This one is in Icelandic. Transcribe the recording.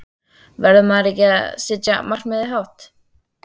Verður maður ekki að setja markið hátt?